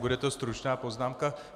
Bude to stručná poznámka.